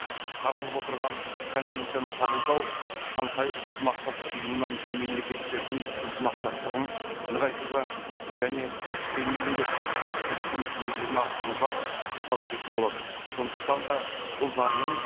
қаралып отырған конвенцияны қабылдау шанхай ынтымақтастық ұйымына мүше мемлекеттердің ынтымақтастығын нығайтуға және экстремизмге қарсы іс қимылдың тиімділігін арттыруға ықпал ететін болады сондықтан да бұл заңның